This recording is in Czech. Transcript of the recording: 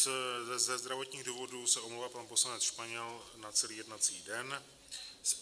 Ze zdravotních důvodů se omlouvá pan poslanec Španěl na celý jednací den.